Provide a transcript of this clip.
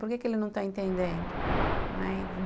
Por que que ele não está entendendo? não, é.